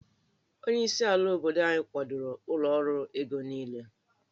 Onyeisi ala obodo anyị kwadoro ụlọ ọrụ ego niile